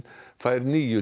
fær níu